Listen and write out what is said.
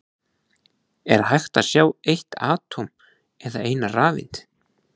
Er hægt að sjá eitt atóm eða eina rafeind?